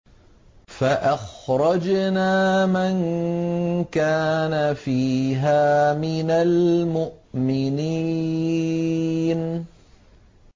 فَأَخْرَجْنَا مَن كَانَ فِيهَا مِنَ الْمُؤْمِنِينَ